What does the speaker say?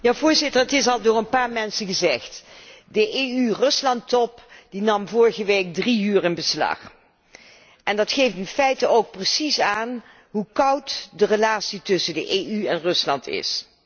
Voorzitter, het is hier al door een paar mensen gezegd de EU Rusland top nam vorige week drie uur in beslag. Dat geeft in feite precies aan hoe koud de relatie tussen de EU en Rusland is.